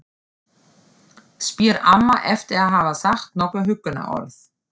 spyr amma eftir að hafa sagt nokkur huggunarorð.